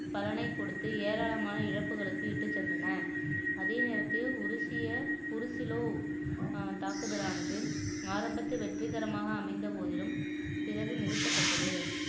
பலனைக் கொடுத்து ஏராளமான இழப்புகளுக்கு இட்டுச் சென்றன அதே நேரத்தில் ஒரு உருசிய புருசிலோ ஆஹ் தாக்குதலானது ஆரம்பத்து வெற்றிகரமாக அமைந்த போதிலும் பிறகு நிறுத்தப்பட்டது